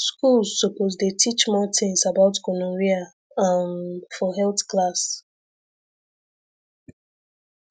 schools suppose dey teach more things about gonorrhea um for health class